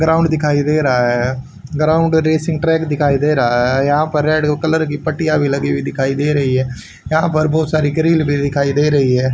Ground दिखाई दे रहा है ग्राउंड रेसिंग ट्रैक दिखाई दे रहा है यहां पर एक रेड कलर की पटिया भी लगी हुई दिखाई दे रही है यहां पे बहुत सारी ग्रिल भी दिखाई दे रही है।